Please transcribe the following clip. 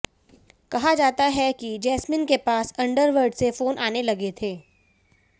कहा जाता है कि जैस्मिन के पास अंडरवर्ल्ड से फोन आने लगे थे